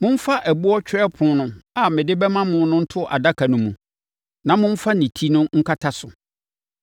Momfa ɛboɔ twerɛpono a mede bɛma mo no nto adaka no mu, na momfa ne ti no nkata so.